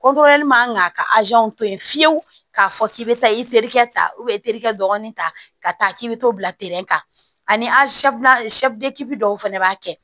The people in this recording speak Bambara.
man ka to yen fiyewu k'a fɔ k'i bɛ taa i terikɛ ta dɔɔnin ta ka taa k'i bɛ t'o bila kan ani dɔw fana b'a kɛ